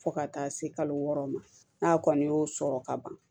Fo ka taa se kalo wɔɔrɔ ma n'a kɔni y'o sɔrɔ ka ban